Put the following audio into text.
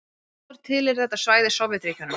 Áður tilheyrði þetta svæði Sovétríkjunum.